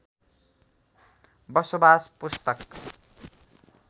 बसोबास पुस्तक